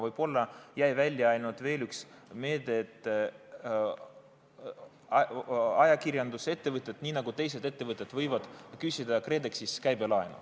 Võib-olla jäi välja veel üks meede, et ajakirjandusettevõtted nii nagu teised ettevõtted võivad küsida KredExist käibelaenu.